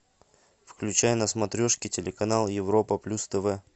включай на смотрешке телеканал европа плюс тв